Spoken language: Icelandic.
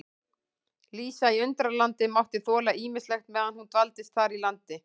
Lísa í Undralandi mátti þola ýmislegt meðan hún dvaldist þar í landi.